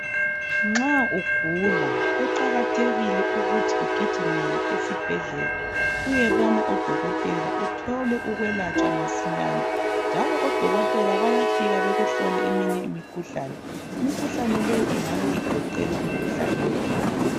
Nxa ugula kuqakathekile ukuthi ugijimele esibhedlela uyebona odokotela uthole ukwelatshwa masinyane njalo odokotela bayafika bekuhlole eminye imikhuhlane imikhuhlane le ingabe igoqela umikhuhlane weBp.